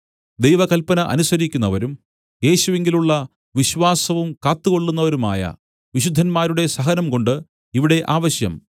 ദൈവകല്പന അനുസരിക്കുന്നവരും യേശുവിങ്കലുള്ള വിശ്വാസവും കാത്തുകൊള്ളുന്നവരുമായ വിശുദ്ധന്മാരുടെ സഹനം കൊണ്ട് ഇവിടെ ആവശ്യം